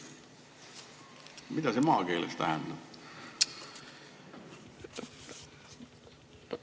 Mida see maakeeles tähendab?